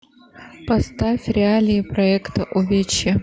поставь реалии проекта увечье